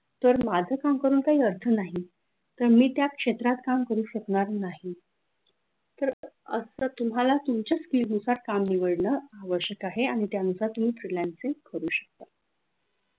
तर माझं काम करून काही अर्थ नाही पण मी त्या क्षेत्रात काम करू शकणार नाही तर असं तुम्हाला तुमच्या पिढीनुसार काम निवडणे आवश्यक आहे आणि त्यानुसार तुम्ही freelancing करू शकता